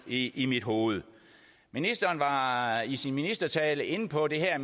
i i mit hoved ministeren var i sin ministertale inde på det her